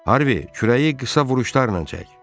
Harvi, kürəyi qısa vuruşlarla çək.